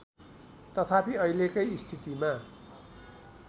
तथापि अहिलेकै स्थितिमा